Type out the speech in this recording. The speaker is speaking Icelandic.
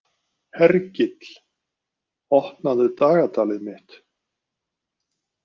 Hergill, opnaðu dagatalið mitt.